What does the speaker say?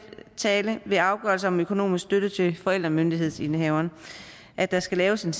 ved afgørelse om økonomisk støtte til forældremyndighedsindehaveren at der skal laves en